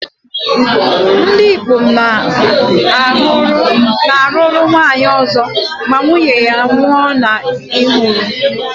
Ndị ikom na-alụrụ nwaanyị ọzọ ma nwunye ha nwụnahụrụ.